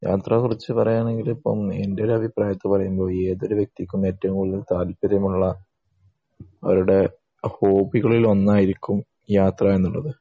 യാത്ര കുറിച്ച് പറയണെങ്കി ഇപ്പൊ എൻ്റെ ഒരു അഭിപ്രായത്തിൽ പറയുമ്പോൾ ഏതൊരു വ്യക്തിക്കും ഏറ്റവും കൂടുതൽ താല്പര്യം ഉള്ള അവരുടെ ഹോബികളിൽ ഒന്നായിരിക്കും യാത്ര എന്നുള്ളത്